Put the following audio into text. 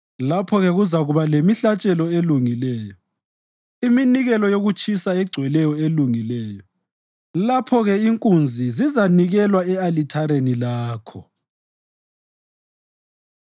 Lapho-ke kuzakuba lemihlatshelo elungileyo, iminikelo yokutshiswa egcweleyo elungileyo, lapho-ke inkunzi zizanikelwa e-alithareni lakho.